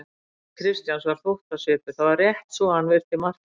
Á andliti Christians var þóttasvipur: það var rétt svo hann virti Martein viðlits.